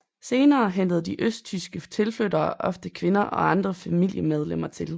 Senere hentede de østtyske tilflyttere ofte kvinder og andre familiemedlemmer til